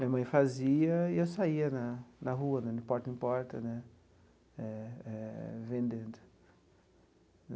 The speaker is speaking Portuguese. Minha mãe fazia e eu saía na na rua né, de porta em porta né, eh vendendo.